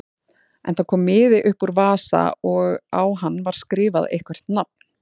En það kom miði upp úr vasa og á hann var skrifað eitthvert nafn.